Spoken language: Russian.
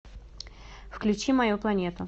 включи мою планету